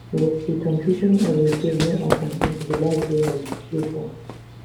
but di completion of repair no happun until di last days of di qfour